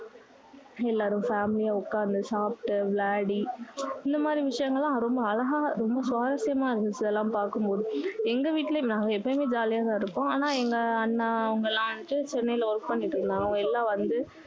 எல்லாரும் family ஆ உக்காந்து சாப்பிட்டு விளையாடி அந்த மாதிரி விஷயங்கள் எல்லாம் ரொம்ப அழகா ரொம்ப சுவாரஷ்யமா இருந்துச்சு எல்லாம் பார்க்கும் போது எங்க வீட்டுலயும் நாங்க எப்பவுமே jolly ஆ தான் இருப்போம் ஆனா எங்க அண்ணா அவங்க எல்லாம் வந்துட்டு சென்னைல work பண்ணிட்டு இருந்தாங்க அவங்க எல்லாம் வந்து